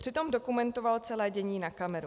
Přitom dokumentoval celé dění na kameru.